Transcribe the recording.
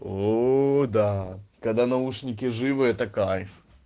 ну да когда наушники живы это кайф